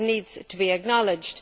That needs to be acknowledged.